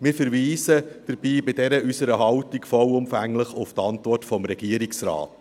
Wir verweisen bei unserer Haltung vollumfänglich auf die Antwort des Regierungsrates.